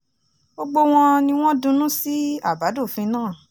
gbogbo wọn ni wọ́n dunnú sí àbádòfin náà